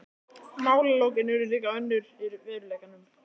Málalokin urðu líka önnur í veruleikanum.